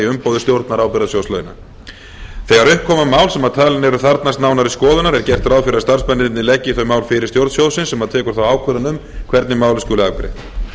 umboði stjórnar ábyrgðasjóð launa þegar upp koma mál sem talin eru þarfnast nánari skoðunar er gert ráð fyrir að starfsmennirnir leggi þau mál fyrir stjórn sjóðsins sem tekur þá ákvörðun um hvernig málið skuli afgreitt